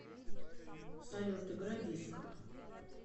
салют играй диско